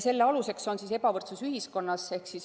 Selle aluseks on ebavõrdsus ühiskonnas.